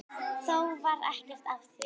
Þó varð ekkert af því.